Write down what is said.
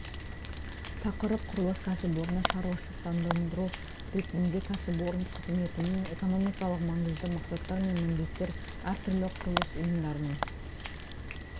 тақырып құрылыс кәсіпорны шаруашылықтандыру ретінде кәсіпорын қызметінің экономикалық маңызы мақсаттар мен міндеттер әртүрлі құрылыс ұйымдарының